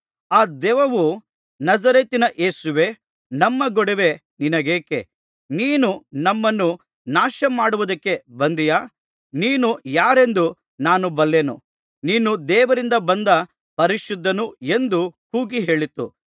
ಆ ದೆವ್ವವು ನಜರೇತಿನ ಯೇಸುವೇ ನಮ್ಮ ಗೊಡವೆ ನಿನಗೇಕೆ ನೀನು ನಮ್ಮನ್ನು ನಾಶಮಾಡುವುದಕ್ಕೆ ಬಂದೆಯಾ ನೀನು ಯಾರೆಂದು ನಾನು ಬಲ್ಲೆನು ನೀನು ದೇವರಿಂದ ಬಂದ ಪರಿಶುದ್ಧನು ಎಂದು ಕೂಗಿ ಹೇಳಿತು